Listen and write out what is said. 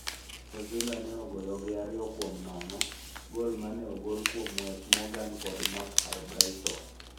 Sevilla ne oloyo gi ariyo kuom nono, gol mane ogol kuom Wes Morgan kod Marc Albrighton.